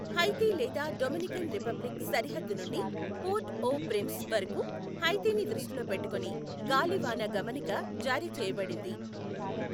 హైతీ లేదా Dominican Republic సరిహద్దు నుండి పోర్ట్ ఓ ప్రిన్స్ వరకు హైతీని దృష్టిలో పెట్టుకొని గాలివాన గమనిక జారీ చేయబడింది.